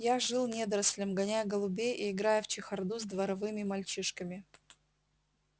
я жил недорослем гоняя голубей и играя в чехарду с дворовыми мальчишками